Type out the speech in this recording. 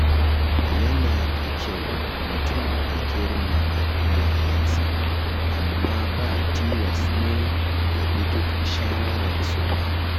Yana da kyau mutum ya girmama iyayensa, amma ba tilas ne ya bi duk shawararsu ba.